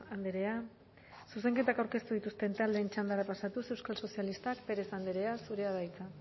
andrea zuzenketak aurkeztu dituzten taldeen txandara pasatuz euskal sozialistak pérez andrea zurea da hitza